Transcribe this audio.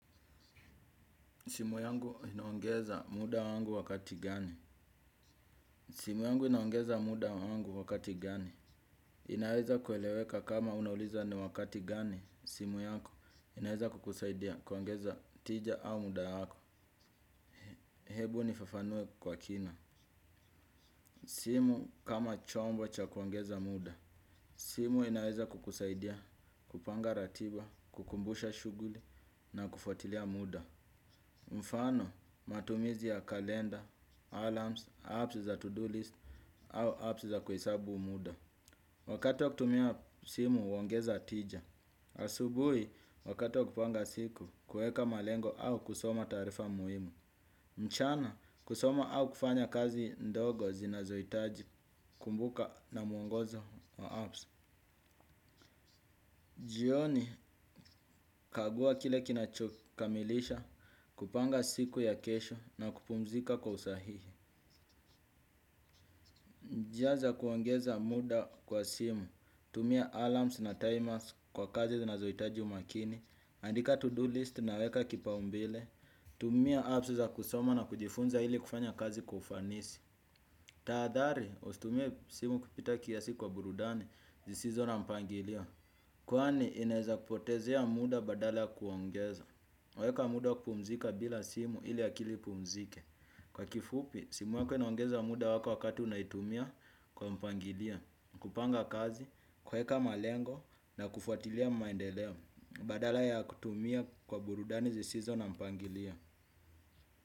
Simu yangu inaongeza muda wangu wakati gani? Simu yangu inaongeza muda wangu wakati gani? Inaweza kueleweka kama unauliza ni wakati gani simu yako inaweza kukusaidia kuongeza tija au muda wako. Hebu nifafanue kwa kina. Simu kama chombo cha kuongeza muda. Simu inaweza kukusaidia kupanga ratiba, kukumbusha shuguli na kufuatilia muda. Mfano matumizi ya kalenda, alarms, apps za to-do list au apps za kuhesabu muda. Wakati wa kutumia simu huongeza tija. Asubui wakati wa kupanga siku kuweka malengo au kusoma tarifa muhimu. Mchana kusoma au kufanya kazi ndogo zinazohitaji kumbuka na mwongozo wa apps. Jioni kagua kile kinachokamilisha kupanga siku ya kesho na kupumzika kwa usahihi. Njia za kuongeza muda kwa simu, tumia alarms na timers kwa kazi zinazoitaji umakini, andika to-do list na weka kipaumbile, tumia apps za kusoma na kujifunza ili kufanya kazi kwa ufanisi. Taadhari, usitumie simu kupita kiasi kwa burudani, zisizo na mpangilio, kwani inaeza kupotezea muda badala kuongeza. Weka muda wa kupumzika bila simu ili akili ipumzike. Kwa kifupi, simu wako inaongeza muda wako wakati unaitumia kwa mpangilio. Kupanga kazi, kuweka malengo na kufuatilia maendeleo. Badala ya kutumia kwa burudani zisizo na mpangilio.